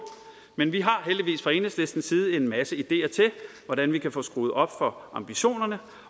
men vi har heldigvis fra enhedslistens side en masse ideer til hvordan vi kan få skruet op for ambitionerne